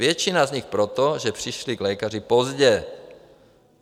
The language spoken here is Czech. Většina z nich proto, že přišli k lékaři pozdě.